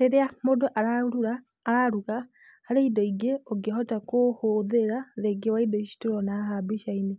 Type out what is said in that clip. Rĩrĩa mũndũ araruga, araruga, harĩ indo ingĩ ũngĩhota kũhũthĩra rĩngĩ wa indo ici tũrona haha mbicainĩ.